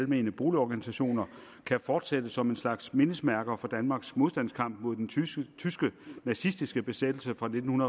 almene boligorganisationer kan fortsætte som en slags mindesmærker for danmarks modstandskamp mod den tyske nazistiske besættelse fra nitten